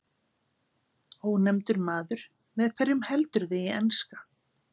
Ónefndur maður: Með hverjum heldurðu í enska?